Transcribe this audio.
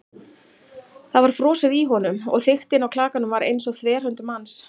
Það var frosið í honum- og þykktin á klakanum var eins og þverhönd manns.